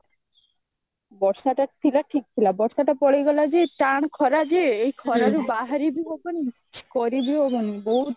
ବର୍ଷାଟା ଥିଲା ଠିକ ଥିଲା ବର୍ଷାଟା ପଳେଇଗଲାଯେ ଟାଣ ଖରାଯେ ଏଇ ଖରାରେ ବାହାରି ବି ହବନି କିଛି କରି ବି ହବନି ବହୁତ ମାନେ